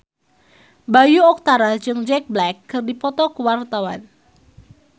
Bayu Octara jeung Jack Black keur dipoto ku wartawan